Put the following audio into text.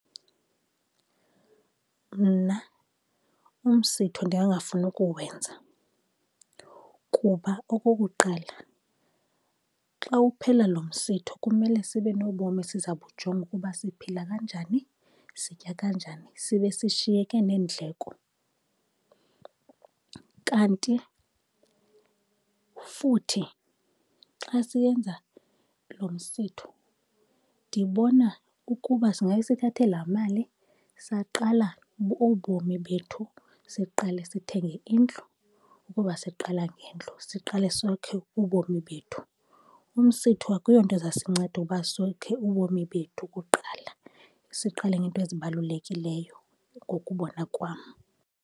Mna umsitho ndingangafuni ukuwenza, kuba okokuqala xa uphela lo msitho kumele sibe nobomi esiza bujonga ukuba siphila kanjani, sitya kanjani, sibe sishiyeke neendleko. Kanti futhi xa siyenza lo msitho ndibona ukuba singabe sithathe laa mali saqala ubomi bethu. Siqale sithenge indlu ukuba siqala ngendlu, siqale sokhe ubomi bethu. Umsitho akuyonto ezasinceda uba sokhe ubomi bethu kuqala, siqale ngeento ezibalulekileyo ngokubona kwam.